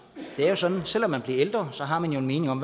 det er jo sådan at selv om man bliver ældre har man en mening om